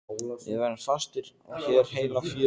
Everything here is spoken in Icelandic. Við verðum fastir hér heila fjöru.